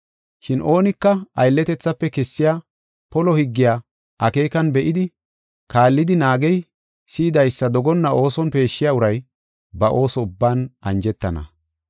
Shin oonika aylletethafe kessiya polo higgiya akeekan be7idi, kaallidi naagey, si7idaysa dogonna ooson peeshshiya uray, ba ooso ubban anjetana.